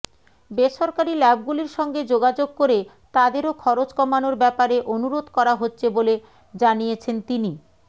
বেসরকারি ল্যাবগুলির সঙ্গে যোগাযোগ করে তাদেরও খরচ কমানোর ব্যাপারে অনুরোধ করা হচ্ছে বলে জানিয়েছেন তিনি